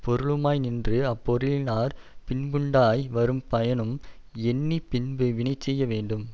பொருளுமாய்நின்று அப்பொருளினாற் பின்புண்டாய் வரும் பயனும் எண்ணி பின்பு வினைசெய்ய வேண்டும்